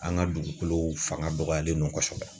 An ka dugukolo fanga dɔgɔyalen don kosɛbɛ